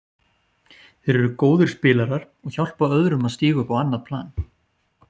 Þeir eru góðir spilarar og hjálpa öðrum að stíga upp á annað plan.